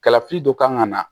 Kalafili dɔ kan ka na